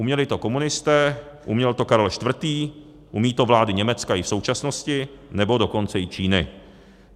Uměli to komunisté, uměl to Karel IV., umějí to vlády Německa i v současnosti, nebo dokonce i Číny.